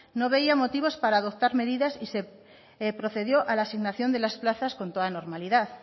no veía motivos para adoptar medidas y se procedió a la asignación de las plazas con toda normalidad